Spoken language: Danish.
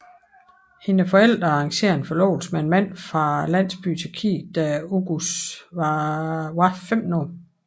Hendes forældre arrangere en forlovelse med en mand fra landsbyen i Tyrkiet da Oguz var 15 år